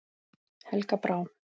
Helga Brá.